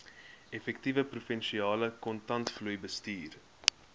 effektiewe provinsiale kontantvloeibestuur